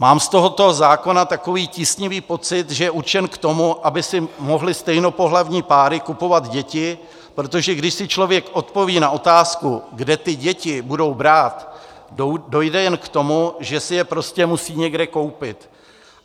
Mám z tohoto zákona takový tísnivý pocit, že je určen k tomu, aby si mohly stejnopohlavní páry kupovat děti, protože když si člověk odpoví na otázku, kde ty děti budou brát, dojde jen k tomu, že si je prostě musí někde koupit.